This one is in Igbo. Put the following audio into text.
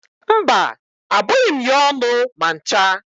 Mba, abụghị m ya ọnụ ma ncha.